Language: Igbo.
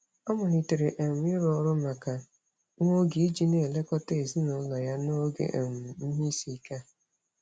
Ọ malitere um ịrụ ọrụ maka nwa oge iji na-elekọta ezinaụlọ ya n'oge um ihe isiike a.